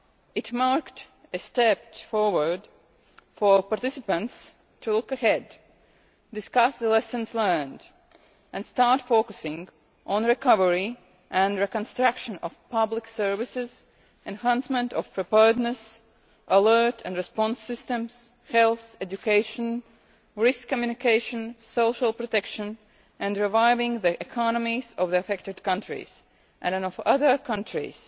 It marked a step forward, for participants to look ahead, discuss the lessons learned and start focusing on recovery and reconstruction of public services, enhancement of preparedness, alert and response systems, health, education, risk communication, social protection and reviving the economies of the affected countries and of other countries